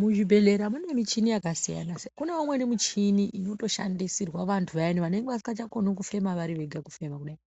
Muzvibhehlera mune muchini yakasiyana siyana. Kune mimweni michini inotoshandisirwa vantu vayani vanenge vasingachakoni kufema vari vega kufema kudai.